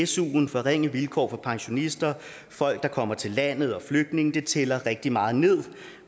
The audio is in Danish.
suen forringe vilkår for pensionister folk der kommer til landet og flygtninge tæller rigtig meget nederst